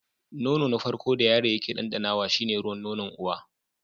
Nono na farko da yaro yake ɗanɗanawa shi ne ruwan nonon uwa.